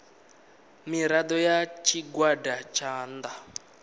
mirado ya tshigwada tsha nnda